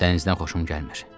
Dənizdən xoşum gəlmir.